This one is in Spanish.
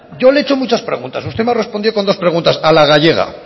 yo le he hecho muchas preguntas usted me ha respondido con dos preguntas a la gallega